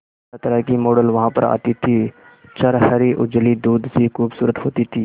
तरहतरह की मॉडल वहां पर आती थी छरहरी उजली दूध सी खूबसूरत होती थी